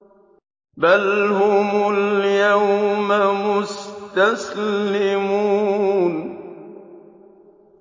بَلْ هُمُ الْيَوْمَ مُسْتَسْلِمُونَ